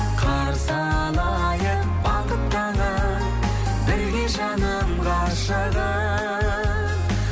қарсы алайық бақыт таңын бірге жаным ғашығым